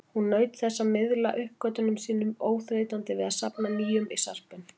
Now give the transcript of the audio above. Hún naut þess að miðla uppgötvunum sínum, óþreytandi við að safna nýjum í sarpinn.